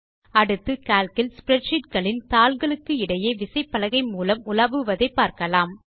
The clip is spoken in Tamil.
அடுத்து கால்க் இல் ஸ்ப்ரெட்ஷீட் களின் தாள்களுக்கு இடையே விசைப்பலகை மூலம் உலாவுவதை பார்க்கலாம்